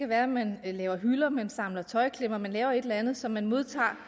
være at man laver hylder at man samler tøjklemmer at man laver et eller andet som man modtager